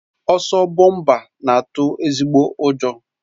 Ọsọ bọmpa na-atụ ezigbo ụjọ